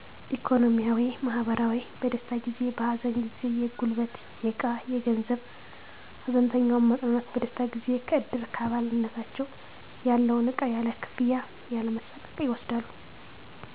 ኢኮኖሚያዊ, ማህበራዊ, በደስታ ጊዜ በሀዘን ጊዜ የጉልበት የዕቃ የገንዘብ ሀዘንተኛውን ማፅናናት በደስታ ጊዜ ከእድር አባልነታቸው ያላቸውን ዕቃ ያለ ክፍያ ያለመሣቀቅ ይወስዳሉ